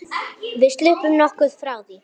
Við sluppum nokkuð frá því.